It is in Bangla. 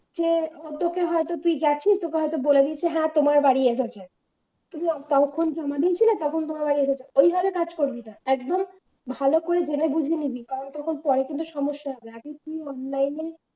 যে উদ্যোগে তুই গেছিস তোকে হয়তো বলে দিচ্ছে হ্যাঁ তোমার বাড়ি এসেছে তুমি কাগজপত্র জমা দিয়েছিলে তখন তোমার বাড়ি এসেছে। ওইভাবে কাজ করবে না একদম ভালো করে জেনে বুঝে নিয়ে দিন। তাহলে পরে কিন্তু সমস্যা হবে। আগে তুই online এ